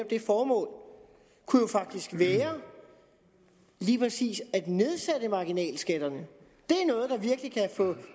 det formål kunne jo faktisk være lige præcis at nedsætte marginalskatterne